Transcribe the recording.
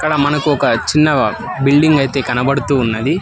మనకు ఒక చిన్న బిల్డింగ్ అయితే కనబడుతూ ఉన్నది.